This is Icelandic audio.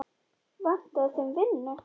Vantaði þeim vinnu?